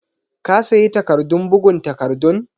ka sayi takardun bugun takardun?